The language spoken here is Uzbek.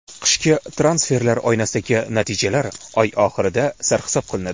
Qishki transferlar oynasidagi natijalar oy oxirida sarhisob qilinadi.